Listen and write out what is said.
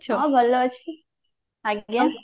ହଁ ଭଲ ଅଛି ଆଜ୍ଞା